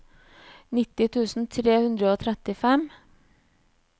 nitti tusen tre hundre og trettifem